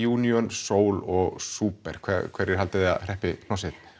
Ríjúníon Sol og Súper hverjir haldið þið að hreppi hnossið